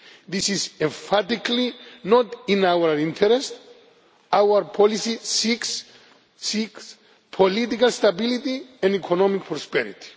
This is emphatically not in our interests. Our policy seeks political stability and economic prosperity.